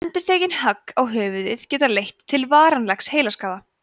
endurtekin högg á höfuðið geta leitt til varanlegs heilaskaða